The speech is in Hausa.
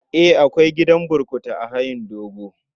Eh, akwai gidan burkutu a hayin dogo.